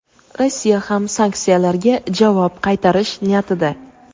Rossiya ham sanksiyalarga javob qaytarish niyatida.